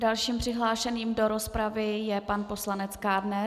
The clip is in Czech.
Dalším přihlášeným do rozpravy je pan poslanec Kádner.